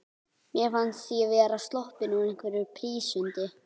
Mér fannst ég vera sloppin úr einhverri prísund.